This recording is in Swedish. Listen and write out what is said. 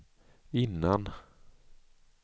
innan